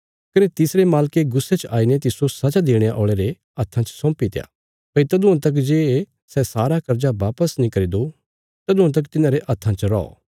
कने तिसरे मालके गुस्से च आईने तिस्सो सजा देणे औल़े रे हत्था च सौंपीत्या भई तदुआं तक जे सै सारा कर्जा बापस नीं करी दो तदुआं तक तिन्हांरे हत्थां च रौ